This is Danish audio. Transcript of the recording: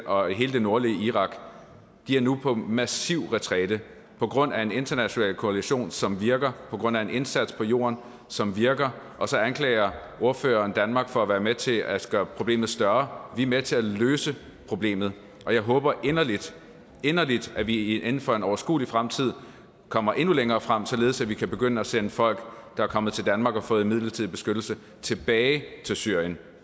og hele det nordlige irak og de er nu på massiv retræte på grund af en international koalition som virker på grund af en indsats på jorden som virker og så anklager ordføreren danmark for at være med til at gøre problemet større vi er med til at løse problemet og jeg håber inderligt inderligt at vi inden for en overskuelig fremtid kommer endnu længere frem således at vi kan begynde at sende folk der er kommet til danmark og har fået midlertidig beskyttelse tilbage til syrien